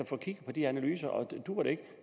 få kigget på de analyser og duer det ikke